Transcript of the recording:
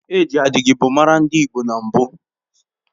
E ji adigigbo maara ndị Igbo na mbụ